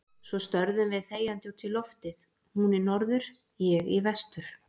Svo störðum við þegjandi út í loftið, hún í norður, ég í vestur.